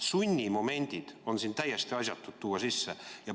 Sunnimomendid on siin täiesti asjatud tuua sisse.